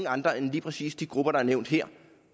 andre end lige præcis de grupper der er nævnt her